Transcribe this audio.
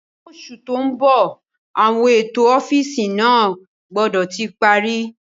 Ní oṣù tó ń bọ̀ àwọn ètò ọ́fíìsì náà gbọ́dọ̀ ti parí